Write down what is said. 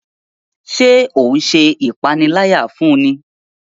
Ṣe o n ṣe ipanilaya fún ní?